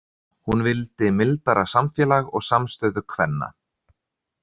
Hún vildi mildara samfélag og samstöðu kvenna.